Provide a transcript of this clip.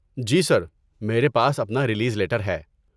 جی sir, میرے پاس اپنا ریلیز لیٹر ہے۔